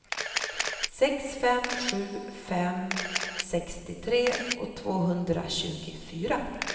sex fem sju fem sextiotre tvåhundratjugofyra